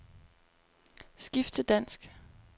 Skift til dansk.